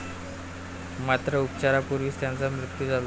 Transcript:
मात्र, उपचारापूर्वीच त्याचा मृत्यु झाला.